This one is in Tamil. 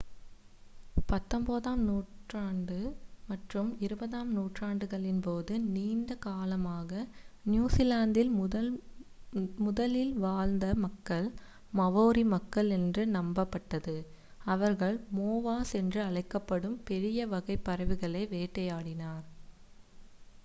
பத்தொன்பதாம் மற்றும் இருபதாம் நூற்றாண்டுகளின்போது நீண்ட காலமாக நியூசிலாந்தில் முதலில் வாழ்ந்த மக்கள் மாவோரி மக்கள் என்று நம்பப்பட்டது அவர்கள் மோவாஸ் என்று அழைக்கப்படும் பெரிய வகைப் பறவைகளை வேட்டையாடினர்